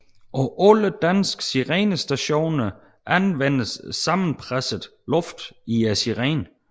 På alle danske sirenestationer anvendtes sammenpresset luft i sirenen